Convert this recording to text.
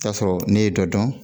Taa sɔrɔ ne ye dɔ dɔn